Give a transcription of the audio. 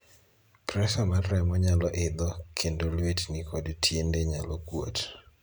Presa mar remo nyalo idho, kendo luetni kod tiende nyalo kuot.